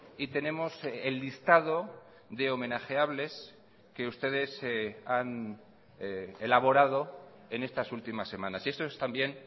y tenemos el listado de homenajeables que ustedes han elaborado en estas últimas semanas y esto es también